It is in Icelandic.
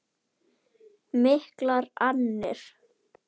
Miklar annir.